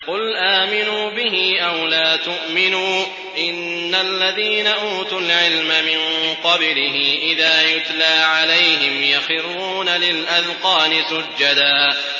قُلْ آمِنُوا بِهِ أَوْ لَا تُؤْمِنُوا ۚ إِنَّ الَّذِينَ أُوتُوا الْعِلْمَ مِن قَبْلِهِ إِذَا يُتْلَىٰ عَلَيْهِمْ يَخِرُّونَ لِلْأَذْقَانِ سُجَّدًا